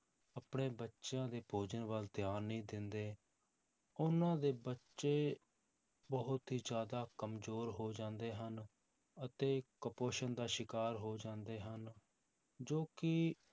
ਆਪਣੇ ਬੱਚਿਆਂ ਦੇ ਭੋਜਨ ਵੱਲ ਧਿਆਨ ਨਹੀਂ ਦਿੰਦੇ ਉਹਨਾਂ ਦੇ ਬੱਚੇ ਬਹੁਤ ਹੀ ਜ਼ਿਆਦਾ ਕੰਮਜ਼ੋਰ ਹੋ ਜਾਂਦੇ ਹਨ, ਅਤੇ ਕੁਪੋਸ਼ਣ ਦਾ ਸ਼ਿਕਾਰ ਹੋ ਜਾਂਦੇ ਹਨ, ਜੋ ਕਿ